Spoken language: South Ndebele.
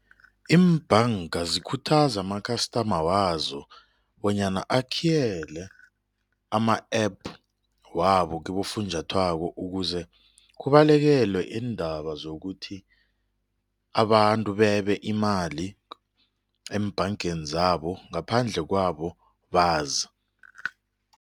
Iimbhanga zikhuthaza ama-customer wazo bonyana akhiyele ama-APP wabo kibofunjathwako ukuze kubalekelwe iindaba zokuthi abantu bebe imali eembhangeni zabo ngaphandle kwabo bazi.